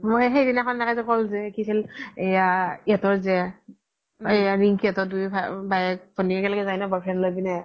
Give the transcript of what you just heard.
মই সেইদিনাখন এনেকে যে ক্'লো যে কি আছিল ইহ্'তৰ যে এয়া ৰিন্কি হ্তৰ দুই ভাইয়েক ভ্নিয়েক একেলগে যাই ন boyfriend লই কিনে